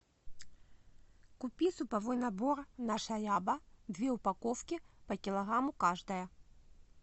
купи суповой набор наша ряба две упаковки по килограмму каждая